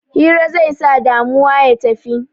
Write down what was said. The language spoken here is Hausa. Hira zai sa damuwa ya tafi